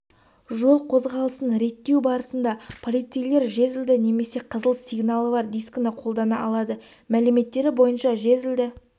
жол қозғалысын реттеу барысында полицейлер жезлді немесе қызыл сигналы бар дискіні қолдана алады мәліметтері бойынша жезлді